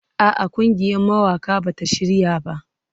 A'a, ƙungiyar mawaƙa ba ta shirya ba.